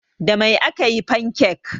Da Mai aka yi fankek?